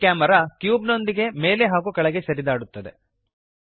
ಈ camera cube ನೊಂದಿಗೆ ಮೇಲೆ ಹಾಗೂ ಕೆಳಗೆ ಸರಿದಾಡುತ್ತದೆ